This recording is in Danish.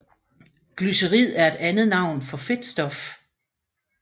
Glycerid er et andet navn for fedtstof